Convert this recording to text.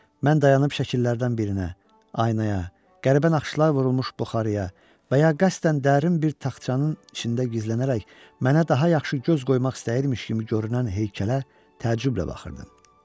Mən dayanıb şəkillərdən birinə, aynaya, qəribə naxışlar vurulmuş buxarıya və ya qəsdən dərin bir taxtçanın içində gizlənərək mənə daha yaxşı göz qoymaq istəyirmiş kimi görünən heykələ təəccüblə baxırdım.